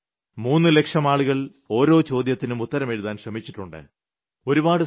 എന്നാൽ 3 ലക്ഷം ആളുകൾ ഓരോ ചോദ്യത്തിനും ഉത്തരമെഴുതാൻ ശ്രമിച്ചിട്ടുണ്ട്